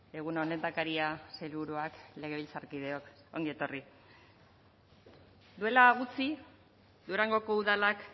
egun on lehendakaria sailburuak legebiltzarkideok ongi etorri duela gutxi durangoko udalak